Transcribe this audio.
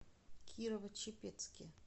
кирово чепецке